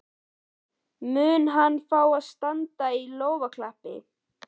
Mun hann fá standandi lófaklapp?